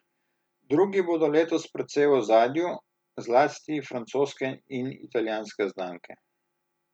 Drugi bodo letos precej v ozadju, zlasti francoske in italijanske znamke.